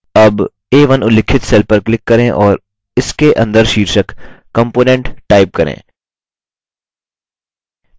अब a1 उल्लिखित cell पर click करें और इसके अंदर शीर्षक component type करें